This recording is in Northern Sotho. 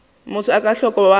motho a ka hlwa a